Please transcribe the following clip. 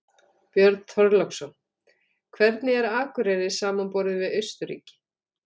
Björn Þorláksson: Hvernig er Akureyri samanborið við Austurríki?